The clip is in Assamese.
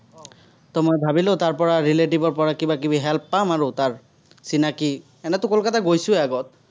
চিনাকি, এনেওতো কলকাতা গৈছোৱেই আগত।